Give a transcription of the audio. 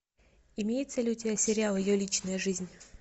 имеется ли у тебя сериал ее личная жизнь